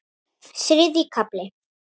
Þriðji kafli